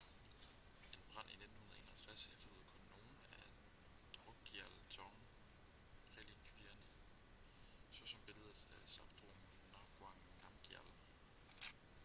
en brand i 1951 efterlod kun nogle af drukgyal dzong-relikvierne såsom billedet af zhabdrung ngawang namgyal